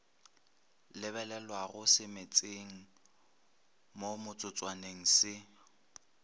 lebelelwago semetseng mo metsotswaneng se